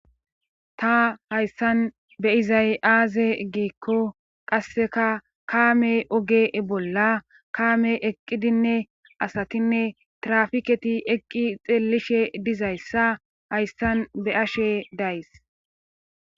Ta hayssan be izayaaze giikko qasseka kaame oge bolla kaame eqqidinne asatinne trafiketi eqqi xeellishe dizayssa hayssan be ashe days